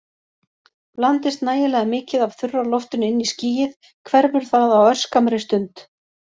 Blandist nægilega mikið af þurra loftinu inn í skýið hverfur það á örskammri stund.